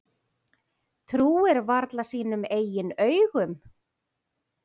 Trúir varla sínum eigin augum.